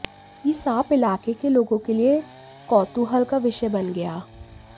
यह सांप इलाके के लोगो के लिए कौतूहल का विषय बन गया